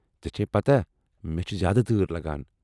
ژےٚ چھیہ پتاہ مےٚ چھِ زیٛادٕ تۭر لگان۔